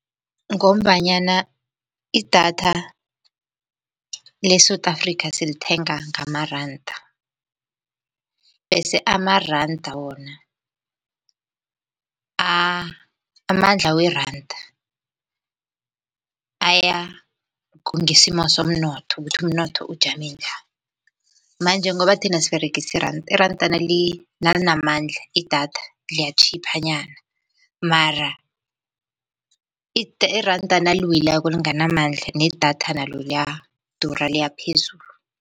Ngombanyana idatha le-South Africa silithenga ngamaranda bese amaranda wona amandla weranda kungesimo somnotho ukuthi umnotho ujame njani, manje ngoba thina siberegisa iranda. Iranda nalinamandla idatha liyatjhipha nyana mara iranda naliwileko linganamanda nedatha nalo liyadura liyaphezulu.